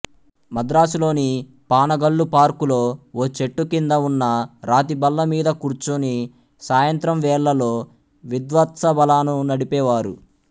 మద్రాసులోని పానగల్లుపార్కులో ఓ చెట్టుకింద ఉన్న రాతిబల్లమీద కూర్చుని సాయంత్రం వేళ్లలో విద్వత్సభలను నడిపేవారు